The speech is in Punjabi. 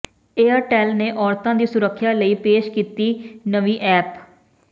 ਏਅਰਟੈੱਲ ਨੇ ਔਰਤਾਂ ਦੀ ਸੁਰੱਖਿਆ ਲਈ ਪੇਸ਼ ਕੀਤੀ ਨਵੀਂ ਐਪ